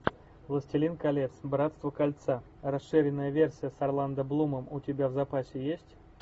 властелин колец братство кольца расширенная версия с орландо блумом у тебя в запасе есть